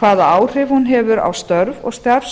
hvaða áhrif hún hefur á störf og